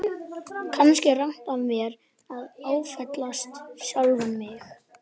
Kannski er rangt af mér að áfellast sjálfan mig.